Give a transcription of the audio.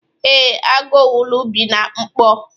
Ee, Agu owulu bi na mkpo